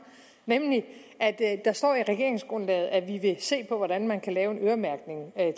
nemlig at der står i regeringsgrundlaget at vi vil se på hvordan man kan lave en øremærkning af